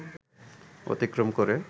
অতিক্রম করে